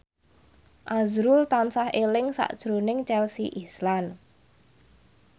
azrul tansah eling sakjroning Chelsea Islan